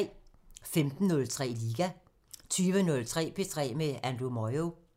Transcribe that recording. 15:03: Liga 20:03: P3 med Andrew Moyo